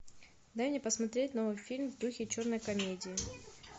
дай мне посмотреть новый фильм в духе черной комедии